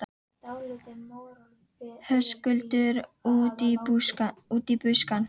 Höskuldur: Út í buskann?